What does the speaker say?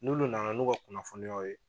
N'ulu na na n'u ka kunnafoniyaw ye